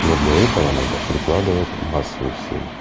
но для этого надо прикладывать массу усилий